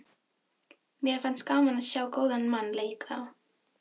Mér finnst gaman að sjá góðan mann leika.